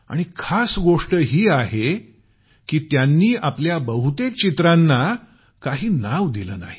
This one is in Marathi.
आणि खास गोष्ट ही आहे की त्यांनी आपल्या बहुतेक चित्रांना काही नाव दिलं नाही